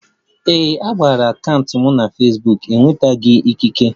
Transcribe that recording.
Ee, a banyere akaụntụ Fesbuk m na-enwetaghi ikike